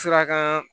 Suraka